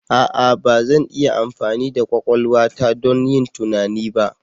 A'a! Ba zan iya amfani da kwakwalwa ta don yin tunani ba.